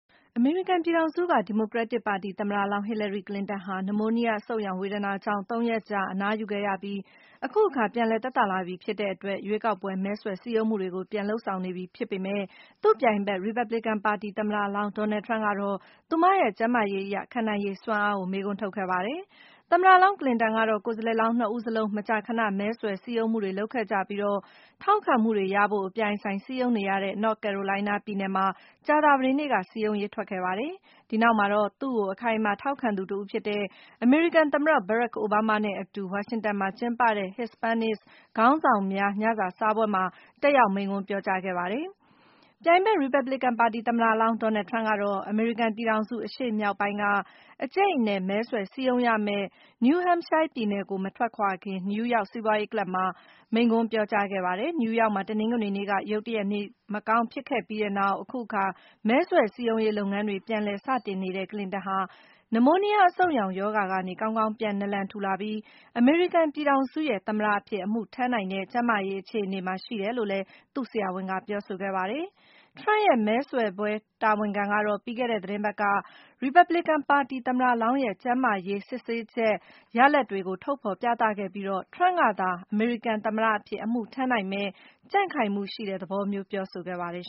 အမေရိကန်ပြည်ထောင်စုက ဒီမိုကရက်တစ်ပါတီ သမ္မတလောင်း ဟီလာရီ ကလင်တန်ဟာ နမိုးနီးယားအဆုတ်ရောင်ဝေဒနာကြောင့် ၃ ရက်ကြာ အနားယူခဲ့ရပြီး အခုအခါ ပြန်လည်သက်သာလာပြီဖြစ်တဲ့အတွက် ရွေးကောက်ပွဲ မဲဆွယ်စည်းရုံးမှုတွေ ပြန်စနေပြီဖြစ်ပေမဲ့ - ပြိုင်ဘက် ရီပတ်ဘလစ်ပါတီ သမ္မတလောင်း Donald Trump ကတော့ သူ့ရဲ့ ကျန်းမာရေးအရ ခံနိုင်ရည်စွမ်းအားအပေါ် မေးခွန်းထုတ်ခဲ့ပါတယ်။ သမ္မတလောင်း ကလင်တန် ကတော့ - ကိုယ်စားလှယ်လောင်း ၂ ဦးစလုံး မကြာခဏ မဲဆွယ်စည်းရုံးမှုတွေ လုပ်ခဲ့ကြပြီး၊ ထောက်ခံမှုတွေရဖို့ အပြိုင်အဆိုင်စည်းရုံးနေရတဲ့ North Carolina ပြည်နယ်မှာ ကြာသပတေးနေ့က စည်းရုံးရေးထွက်ခဲ့တာပါ။ ဒီနောက်မှာတော့ သူ့အပေါ် အခိုင်အမာ ထောက်ခံသူတဦးဖြစ်တဲ့ သမ္မတ ဘရက်ခ် အိုဘားမားနဲ့အတူ ဝါရှင်တန်မှာ ကျင်းပတဲ့ Hispanic ခေါင်းဆောင်များ ညစာစားပွဲမှာ တက်ရောက်မိန့်ခွန်းပြောကြားခဲ့ပါတယ်။ ရီပတ်ဘလစ်ကန်ပါတီ သမ္မတလောင်း Donald Trump ကတော့ အမေရိကန်ပြည်ထောင်စု အရှေ့မြောက်ပိုင်းက အကြိတ်အနယ် မဲဆွယ်စည်းရုံးရမယ့် New Hampshire ပြည်နယ်ကို မထွက်ခွာခင် - New York စီးပွားရေးကလပ်မှာ မိန့်ခွန်းပြောကြားခဲ့တာပါ။ နယူးယောက်မှာ တနင်္ဂနွေနေ့က ရုတ်တရက် နေမကောင်းဖြစ်ခဲ့တဲ့ပြီးနောက် - အခုအခါ မဲဆွယ်စည်းရုံးရေး လုပ်ငန်းတွေ ပြန်လည်စတင်နေတဲ့ ကလင်တန် ဟာ နမိုးနီးယားအဆုတ်ရောင်ရောဂါကနေ ကောင်းကောင်း ပြန်နာလန်ထူလာပြီး၊ အမေရိကန် ပြည်ထောင်စုရဲ့ သမ္မတအဖြစ် အမှုထမ်းနိုင်တဲ့ ကျန်းမာရေး အခြေအနေမှာ ရှိတယ်လို့လည်း သူ့ဆရာဝန်က ပြောဆိုခဲ့ပါတယ်။ Trump ရဲ့ မဲဆွယ်ပွဲတာဝန်ခံတွေကတော့ ပြီးခဲ့တဲ့ သီတင်းပတ်က ရီပတ်ဘလစ်ကန် သမ္မတလောင်းရဲ့ ကျန်းမာရေး စစ်ဆေးချက် ရလဒ်တွေကို ထုတ်ဖော်ပြသပြီး၊ Trump ကသာ အမေရိကန်သမ္မတအဖြစ် အမှုထမ်းနိုင်မယ့် ကြံ့ခိုင်မှုရှိတဲ့သဘောမျိုး ပြောဆိုခဲ့ပါတယ်